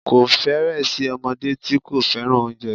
Kò fẹ́rẹ̀ẹ́ sí ọmọdé tí kò fẹ́ràn oúnjẹ